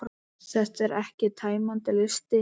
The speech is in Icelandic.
Þetta er ekki tæmandi listi.